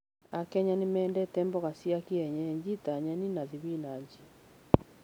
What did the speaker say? AKenya nĩ mendete mboga cia kĩenyeji ta nyeni na thibinachi.